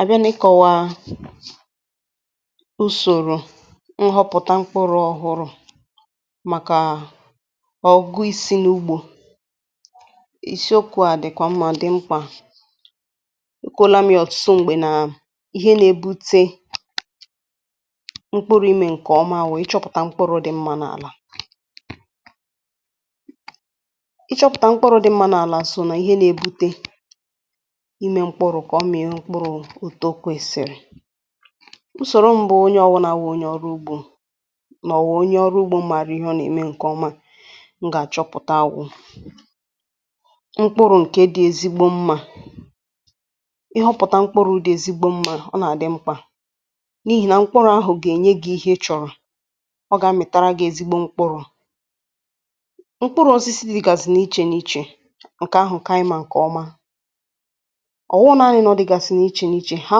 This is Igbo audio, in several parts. A bịa n’ikọ̇wȧȧ usòrò nghọpụ̀ta mkpụrụ̇ ọhụrụ̇ màkà ọ̀gụ isi n’ugbȯ ìsiòkù à dị̀kwà mmà dị mkpà. Ekwela m yȧ ọ̀tụtụ m̀gbè nà ihe nà-ebute mkpụrụ imė ǹkè ọma wụ̀ ịchọ̇pụ̀ta mkpụrụ̇ dị mmȧ n’àlà. Ị chọ̇pụ̀ta mkpụrụ dị mmȧ n’àlà à sò nà ihe nà-ebute ime mkpụrụ ka ọmia mkpụrụ etụ okwesiri. Nsòro mbụ onye ọwụnà àwụ onye ọrụ ugbȯ nà ọwụ̀ onye ọrụ ugbȯ àrụ ihe ọ nà-ème ǹkè ọma m gà-àchọpụ̀ta awụ mkpụrụ ǹke dị ezigbo mmȧ ihe ọhụ̀ta mkpụrụ̇ dị̇ ezigbo mmȧ ọ nà-àdị mkpà n’ihì nà mkpụrụ̇ ahụ̀ gà-ènye gị̇ ihe ị chọ̀rọ̀ ọ gà-amị̀tara gị̇ ezigbo mkpụrụ̇. Mkpụrụ̇ ọ̀zọ isi dị̇gàzị̀ n’ichè n’ichè ǹkè ahụ̀ ǹke ànyị mà ǹkè ọma ọwụghị nanị na odigasi n'ịche n'iche ha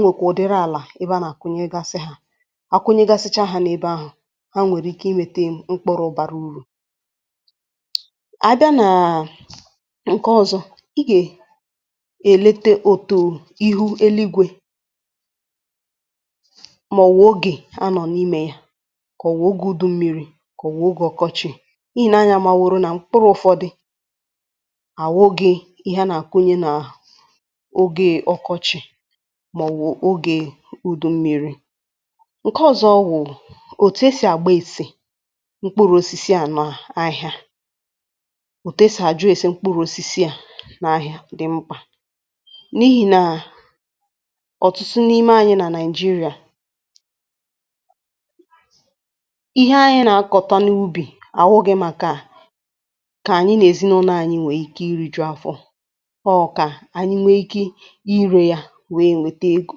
nwèkwà ụ̀dịrị àlà ebe a nà-àkụnyegasị ha. Akụnyegasịcha ha n’ebe ahụ̀ ha nwèrè ike inwėtė mkpụrụ bàrà urù. A bịa nàà ǹke ọzọ̇ i gè èlete otu ihu eluigwė mà ọ̀wụ̀ ogè a nọ̀ n’imė ya kà ọ̀wụ̀ ogė udummiri kà ọ̀wụ̀ ogè ọkọchị̇ i nė anyȧ mà wòrò nà mkpụrụ ụ̀fọdị à wụ̀ghi ihe a nà-àkụnye nà ogè ọkọchị̇ ma ọwụ oge ụdụ mmiri. Nke ọ̀zọ wụ̀ òtù esì àgba èsè mkpụrụ̇ osisi à nọ ahị̇ȧ òtù esì àjụ esi̇ mkpụrụ̇ osisi à n’ahịa dị mkpà, n’ihi̇ nà ọ̀tụtụ n’ime anyị nà Nigeria ihe anyị nà-akọ̀ta n’ubì ànwụghe màkà kà ànyị nà-èzinụnọ anyị nwèe ike iri̇ jụ̀ afọ̇ ọ ka anyị nwee ike ire ya wee nwete ego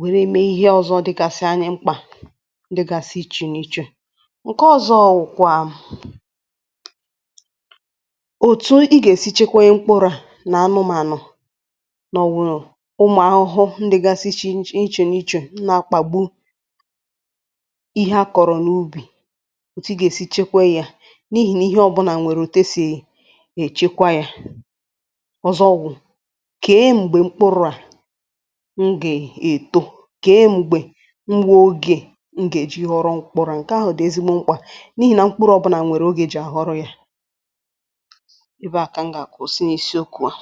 wère mee ihe ọ̀zọ dịgasị anya mkpà ndị gasị ichè n’ichè. Nke ọ̀zọ wụ̀ kwà òtù ị gà-èsi chekwe mkpụrụ à nà anụ mànụ̀ nà ọ̀wụ̀ ụmụ̀ ahụhụ ndị gasị ichè n’ichè nà ichè na-akpà gbu ihe akọ̀rọ̀ n’ubì òtù ị gà-èsi chekwe ya n’ihì na ihe ọ̀bụ̀nà nwèrè òtù e sì èchekwa ya. Ọzọ ọ̀gwụ̀ kè e m̀gbè mkpụrụ̇ à m ga eto ke m̀gbè ngwa ogė m gà-èji ọrụ mkpụrụrụ ǹke àhụ dị̀ ezigbo mkpà n’ihì nà mkpụrụ̇ ọ̀bụnà nwèrè ogė jì àhọrọ̇ ya ebe à kà m gà-àkà ụsị n’isi okù wȧ.